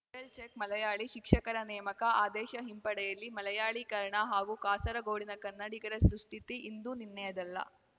viral check Malayali ಶಿಕ್ಷಕರ ನೇಮಕ ಆದೇಶ ಹಿಂಪಡೆಯಲಿ ಮಲಯಾಳೀಕರಣ ಹಾಗೂ ಕಾಸರಗೋಡಿನ ಕನ್ನಡಿಗರ ದುಸ್ಥಿತಿ ಇಂದು ನಿನ್ನೆಯದಲ್ಲ